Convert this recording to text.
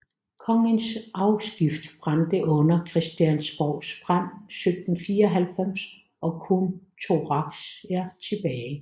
Kongens afskrift brændte under Christiansborgs brand 1794 og kun Thurahs var tilbage